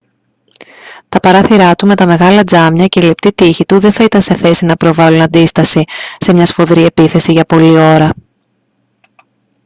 τα παράθυρά του με τα μεγάλα τζάμια και οι λεπτοί τοίχοι του δεν θα ήταν σε θέση να προβάλλουν αντίσταση σε μια σφοδρή επίθεση για πολλή ώρα